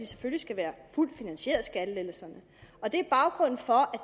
selvfølgelig skal være fuldt finansieret og det er baggrunden for